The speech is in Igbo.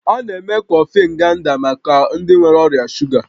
A na-eme kọfị Nganda maka ndị nwere ọrịa shuga